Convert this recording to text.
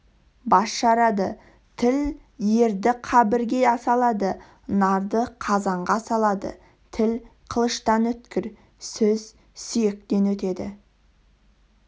бас жарады тіл ерді қабірге салады нарды қазанға салады тіл қылыштан өткір сөз сүйектен өтеді